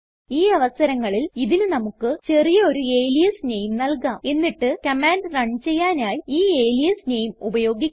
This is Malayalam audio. ഈ അവസരങ്ങളിൽ ഇതിന് നമുക്ക് ചെറിയ ഒരു അലിയാസ് നെയിം നൽകാം എന്നിട്ട് കമാൻഡ് റൺ ചെയ്യാനായി ഈ അലിയാസ് നെയിം ഉപയോഗിക്കാം